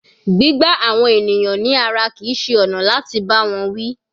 Gbígbá àwọn ènìyàn ní ara kìí ṣe ọ̀nà láti bá wọn wí.